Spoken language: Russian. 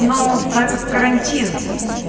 но так как карантин